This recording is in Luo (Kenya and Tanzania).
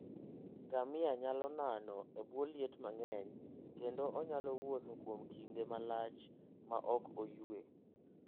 Ngamia nyalo nano e bwo liet mang'eny, kendo onyalo wuotho kuom kinde malach maok oyue.